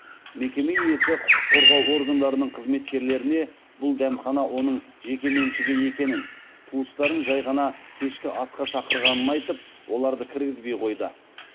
мекеме иесі құқық қорғау органдарының қызметкерлеріне бұл дәмхана оның жекеменшігі екенін туыстарын жай ғана кешкі асқа шақырғанын айтып оларды кіргізбей қойды